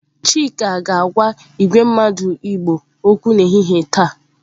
Chika ga-agwa igwe mmadu igbo okwu n'ehihie taa.